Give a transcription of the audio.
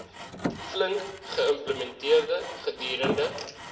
flink geïmplementeer gedurende